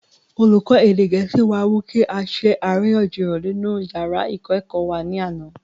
olùkọ́ èdè gẹ̀ẹ́sì wá mú kí á ṣe àríyànjiyàn nínú yàrá ìkọ́-ẹ̀kọ́ wa ní àná